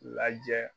Lajɛ